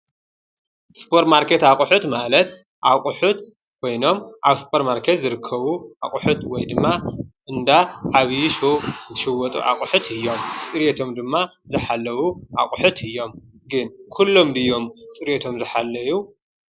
ሱፐር ማርኬት አቁሑት ማለት እቁሑት ኮይኖም አብ ሱፐር ማርኬት ዝርከቡ አቁሑት ወይ ድማ እንዳ ዓብይ ሱቅ ዝሽወጡ እቁሑት እዮም። ፅርየቶም ድማ ዝሓለው አቁሑት እዮም። ግን ኩሎም ድዮም ፅርየቶም ዝሓለየ?